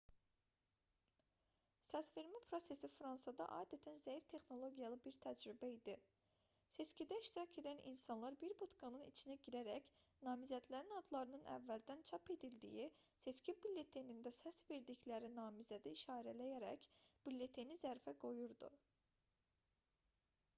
səsvermə prosesi fransada adətən zəif texnologiyalı bir təcrübə idi seçkidə iştirak edən insanlar bir budkanın içinə girərək namizədlərin adlarının əvvəldən çap edildiyi seçki bülletenində səs verdikləri namizədi işarələyərək bülleteni zərfə qoyurdu